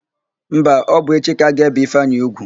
Mba, ọ bụ echi ka a ga-ébè Ifeanyị úgwù.